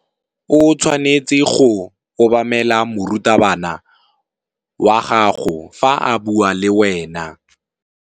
O tshwanetse go obamela morutabana wa gago fa a bua le wena.